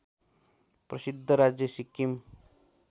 प्रसिद्ध राज्य सिक्किम